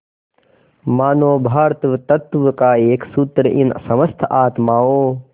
मानों भ्रातृत्व का एक सूत्र इन समस्त आत्माओं